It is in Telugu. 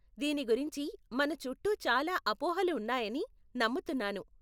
దీని గురించి మన చుట్టూ చాలా అపోహాలు ఉన్నాయని నమ్ముతున్నాను.